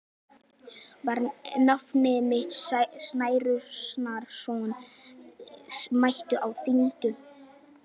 Var nafni minn Særúnarson mættur á þinginu?